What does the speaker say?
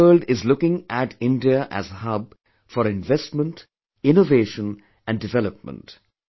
The whole world is looking at India as a hub for investment innovation and development